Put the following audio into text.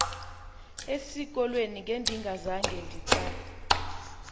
esikolweni ngendingazange nditsak